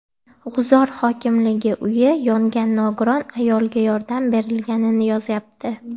G‘uzor hokimligi uyi yongan nogiron ayolga yordam berilganini yozyapti.